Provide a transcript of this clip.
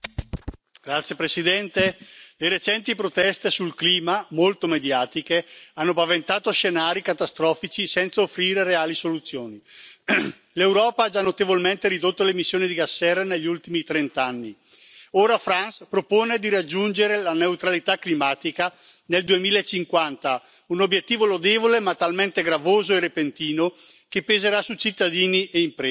Signora Presidente, onorevoli colleghi, le recenti proteste sul clima, molto mediatiche, hanno paventato scenari catastrofici, senza offrire reali soluzioni. L'Europa ha già notevolmente ridotto l'emissione di gas serra negli ultimi trent'anni. Ora Frans propone di raggiungere la neutralità climatica nel 2050, un obiettivo lodevole ma talmente gravoso e repentino che peserà su cittadini e imprese.